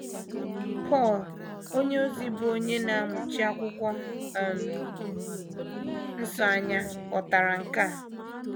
Pọl onyeozi, bụ́ onye na - amụchi Akwụkwọ um Nsọ anya, ghọtara nke a.